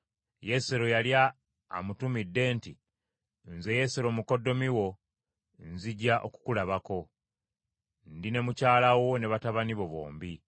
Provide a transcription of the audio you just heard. Yesero yali amutumidde nti, “Nze Yesero mukoddomi wo, nzija okukulabako. Ndi ne mukyala wo ne batabani be bombi.”